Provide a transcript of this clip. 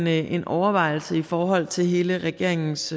er en overvejelse i forhold til hele regeringens